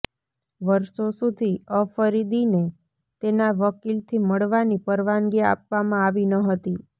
વર્ષો સુધી અફરીદીને તેના વકીલથી મળવાની પરવાનગી આપવામાં આવી ન હતી